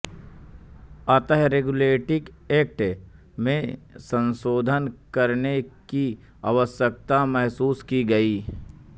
अतः regulating act में संशोधन करने की आवश्यकता महसूस की गई